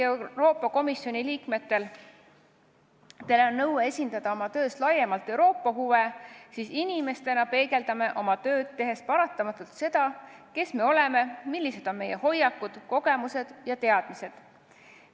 Euroopa Komisjoni liikmed peavad küll oma töös esindama laiemalt Euroopa huve, aga inimestena me peegeldame oma tööd tehes paratamatult seda, kes me oleme, millised on meie hoiakud, kogemused ja teadmised.